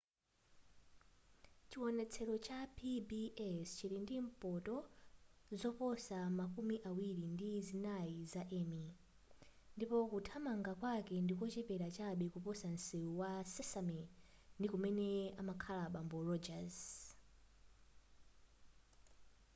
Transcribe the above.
chiwonetsero cha pbs chili ndi mphoto zoposa makumi awiri ndi zinayi za emmy ndipo kuthamanga kwake ndikochepera chabe kuposa nsewu wa sesame ndi kumene amakhala bambo rodgers